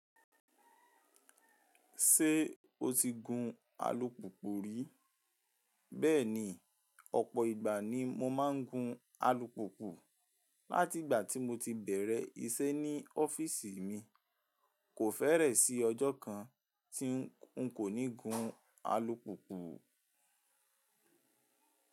Ṣé o ti gun alùpùpù rí? Bẹ́ẹ̀ni, ọ̀pọ̀ ìgbà ni mo máa ń gun alùpùpù. Látìgbà tí mo ti bẹ̀rẹ̀ iṣẹ́ ní ọ́fíísì mi, kò fẹ́rẹ̀ sí ọjọ́ kan tí ń kò ní gun alùpùpù.